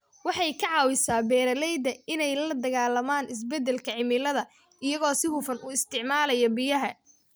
Waxay ka caawisaa beeralayda inay la dagaallamaan isbeddelka cimilada iyagoo si hufan u isticmaalaya biyaha.